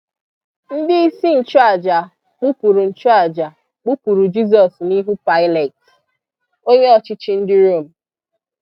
Ndị isi nchụàjà kpupụrụ nchụàjà kpupụrụ Jisọs n’ihu Pilat, onye ọchịchị ndị Rom.